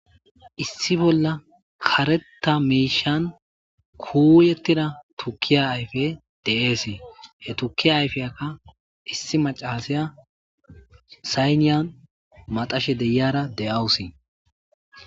issi bollan kareta mishan kuyetida tukiya ayfey de'ese he tukiya ayfiyakka issi macasiya sayinan maxashe de'iyara de'eawusi